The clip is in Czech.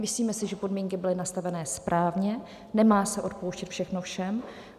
Myslíme si, že podmínky byly nastaveny správně, nemá se odpouštět všechno všem.